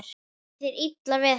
Er þér illa við hana?